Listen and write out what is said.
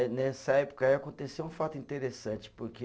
nessa época aí aconteceu um fato interessante, porque